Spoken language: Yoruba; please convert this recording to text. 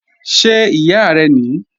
Ṣé ìyá rẹ́ ní?